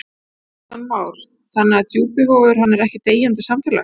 Kristján Már: Þannig að Djúpivogur, hann er ekkert deyjandi samfélag?